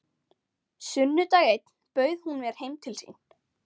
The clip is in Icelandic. Sunnudag einn bauð hún mér heim til sín.